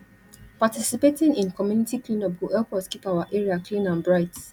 participating in community cleanup go help us keep our area clean and bright